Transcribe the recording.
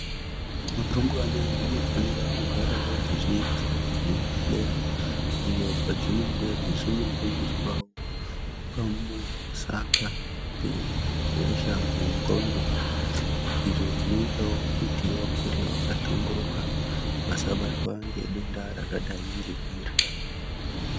Rumbwana dzinofanirwa kugara wo dzichienda kuzvibhedhlera iyo kwadzi nenge dzeiifundiswa pamusaka pehosha yendxondo izvozvinoita kuti dzikure dzakahlamburuka dzisabatwa nedenda iroro.